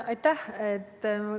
Aitäh!